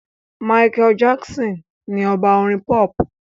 Michael Jackson ni ọba Orin pop.